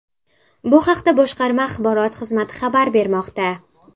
Bu haqda boshqarma axborot xizmati xabar bermoqda .